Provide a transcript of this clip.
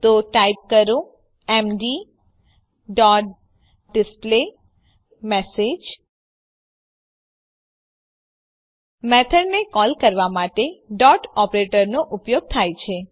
તો ટાઈપ કરો MD dot display message મેથડને કોલ કરવા માટે ડોટ ઓપરેટરનો ઉપયોગ થાય છે